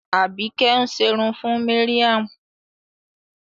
Àbíkẹ́ ń ṣerun fún Mariam.